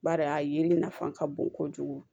Bari a yeli nafa ka bon kojugu